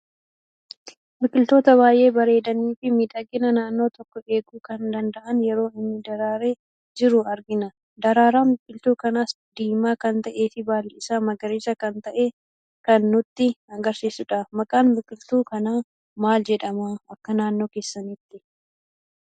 Biqiltoota baay'ee bareedanii fi miidhagina naannoo tokko eeguu kan danda'an yeroo inni daraaree jiru argina. Daraaraan biqiltuu kanas diimaa kan ta'ee fi baalli isaa magariisa kan ta'e kan nutti agarsiisuudha. Maqaan biqiltuu kana maal jedhama akka naannoo keessanitti?